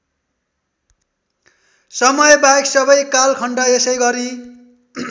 समयबाहेक सबै कालखण्ड यसैगरी